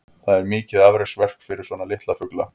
Það er mikið afreksverk fyrir svona litla fugla.